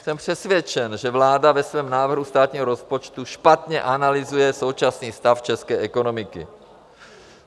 Jsem přesvědčen, že vláda ve svém návrhu státního rozpočtu špatně analyzuje současný stav české ekonomiky.